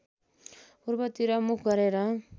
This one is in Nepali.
पूर्वतिर मुख गरेर